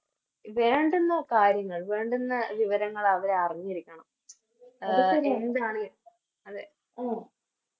വേണ്ടുന്ന കാര്യങ്ങൾ വേണ്ടുന്ന വിവരങ്ങൾ അവരറിഞ്ഞിരിക്കണം അതെ